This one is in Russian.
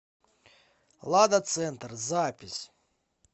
лада центр запись